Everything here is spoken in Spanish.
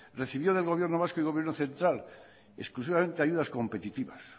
recibió del gobierno vasco y gobierno central exclusivamente ayudas competitivas